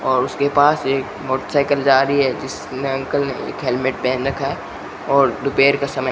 और उसके पास एक मोटरसाइकिल जा रही है जिसने अंकल ने एक हेलमेट पहन रखा है और दोपहर का समय --